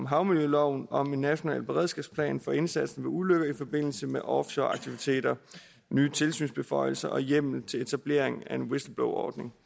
havmiljøloven om en national beredskabsplan for indsatsen ved ulykker i forbindelse med offshoreaktiviteter nye tilsynsbeføjelser og hjemmel til etablering af en whistleblowerordning